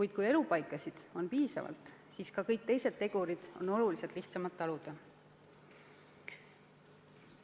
Ent kui elupaikasid on piisavalt, siis on kõiki neid tegureid oluliselt lihtsam taluda.